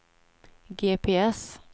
GPS